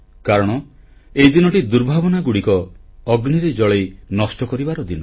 କାରଣ ଏହି ଦିନଟି ଦୁର୍ଭାବନାଗୁଡ଼ିକ ଅଗ୍ନିରେ ଜଳାଇ ନଷ୍ଟ କରିବାର ଦିନ